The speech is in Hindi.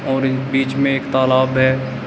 और ये बीच में एक तालाब है।